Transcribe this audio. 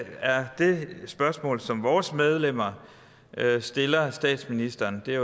er det spørgsmål som vores medlemmer stiller statsministeren det